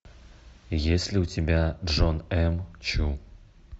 есть ли у тебя джон м чу